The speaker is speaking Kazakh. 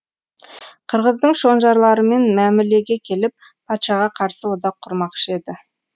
қырғыздың шонжарларымен мәмілеге келіп патшаға қарсы одақ құрмақшы еді